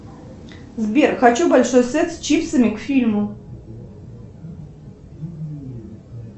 сбер хочу большой сет с чипсами к фильму